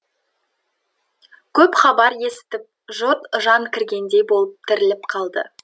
көп хабар есітіп жұрт жан кіргендей болып тіріліп қалды